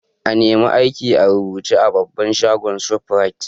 I nema aiki a rubuce a babban shagon' shoprite.